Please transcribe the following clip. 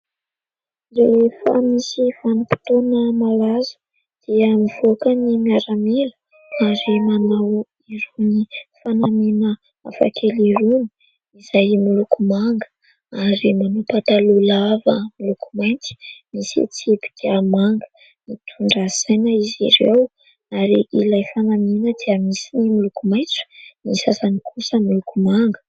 Rehefa misy vanim-potoana malaza dia mivoaka ny miaramila ary manao irony fanamiana hafa kely irony izay miloko manga ary manao pataloha lava miloko mainty misy tsipika manga ; mitondra saina izy ireo ary ilay fanamiana dia misy ny miloko maitso, ny sasany kosa miloko manga.